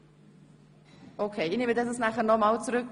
Ich bespreche anschliessend die Angelegenheit noch im Büro.